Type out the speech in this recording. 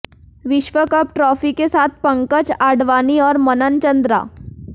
विश्व cup trophy के साथ पंकज आडवाणी और मनन चंद्रा